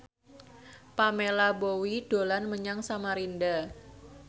Pamela Bowie dolan menyang Samarinda